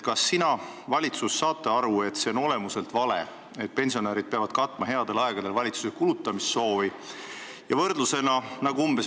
Kas valitsus saab aru, et see, et pensionärid peavad headel aegadel valitsuse kulutamissoovi katma, on olemuslikult vale?